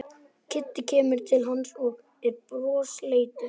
Kiddi kemur til hans og er brosleitur.